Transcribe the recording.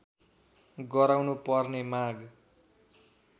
गराउनु पर्ने माग